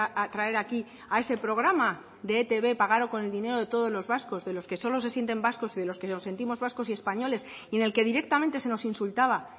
a traer aquí a ese programa de etb pagado con el dinero de todos los vascos de los que solo se sienten vascos y de los que nos sentimos vascos y españoles y en el que directamente se nos insultaba